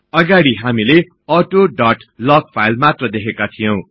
अगाडी हामीले auth dot log file मात्र देखेको थियौ